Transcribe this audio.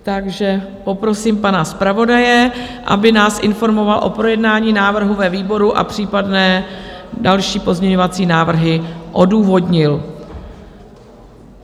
Takže poprosím pana zpravodaje, aby nás informoval o projednání návrhu ve výboru a případné další pozměňovací návrhy odůvodnil.